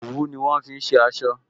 Òwú ni wọn fi ṣe aṣọ